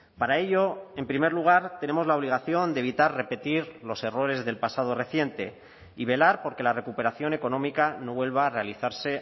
para ello en primer lugar tenemos la obligación de evitar repetir los errores del pasado reciente y velar por que la recuperación económica no vuelva a realizarse